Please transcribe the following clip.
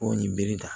Ko nin bere ta